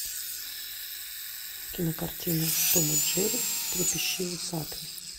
кинокартина том и джерри трепещи усатый